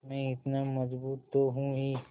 मैं इतना मज़बूत तो हूँ ही